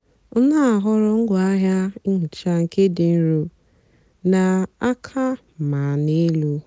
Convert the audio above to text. ọ na-àhọ̀rọ̀ ngwaáahịa nhịcha nké dị́ nro na àka mà n'elú.